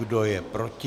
Kdo je proti?